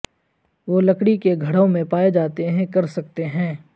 وہ لکڑی کے گھروں میں پائے جاتے ہیں کر سکتے ہیں